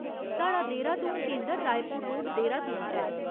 साढ़ा देहरादून केंदर रायपुर रोड, देहरादून च ऐ।